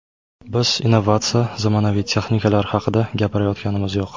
Biz innovatsiya, zamonaviy texnikalar haqida gapirayotganimiz yo‘q.